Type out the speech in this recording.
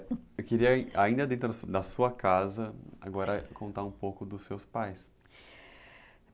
Eu queria, ainda dentro da sua casa, agora contar um pouco dos seus pais.